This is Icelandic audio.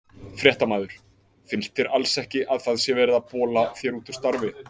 Fréttamaður: Finnst þér alls ekki að það sé verið að bola þér úr starfi?